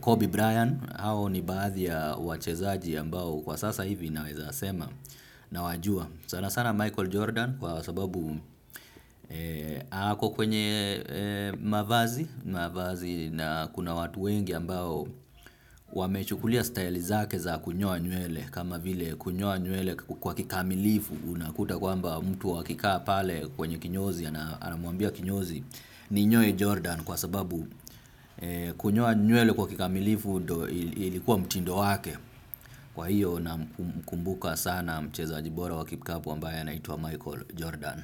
Kobe Bryant hao ni baadhi ya wachezaji ambao kwa sasa hivi naweza sema nawajua. Sana sana Michael Jordan kwa sababu ako kwenye mavazi na kuna watu wengi ambao wamechukulia staili zake za kunyoa nywele kama vile kunyoa nywele kwa kikamilifu unakuta kwamba mtu akikaa pale kwenye kinyozi anamuambia kinyozi ninyoe Jordan kwa sababu kunyoa nywele kwa kikamilifu ndo ilikuwa mtindo wake. Kwa hiyo namkumbuka sana mchezaji bora wa kikapu ambaya anaitwa Michael Jordan.